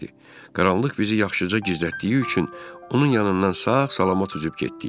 Qaranlıq bizi yaxşıca gizlətdiyi üçün onun yanından sağ-salamat üzüb getdik.